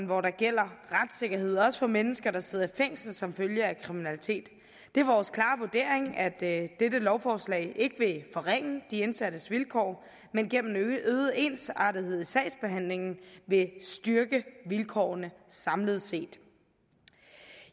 hvor der gælder retssikkerhed også for mennesker der sidder i fængsel som følge af kriminalitet det er vores klare vurdering at dette lovforslag ikke vil forringe de indsattes vilkår men gennem øget ensartethed i sagsbehandlingen vil styrke vilkårene samlet set